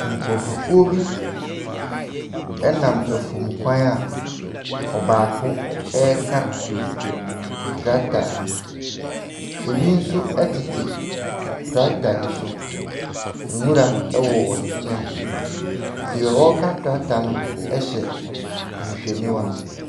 Nkorɔfokuo bi ɛnam afuomukwan a, ɔbaako ɛreka tractor. Ebi nso ɛtete tractor no so. Nwura ɛwɔ wɔn kyɛn. Deɛ ɔreka tractor no ɛhyɛ ahwehwɛniwa.